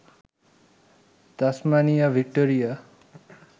Tasmania, Victoria